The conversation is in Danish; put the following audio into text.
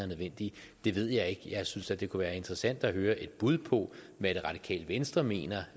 nødvendige det ved jeg ikke jeg synes da det kunne være interessant at høre et bud på hvad det radikale venstre mener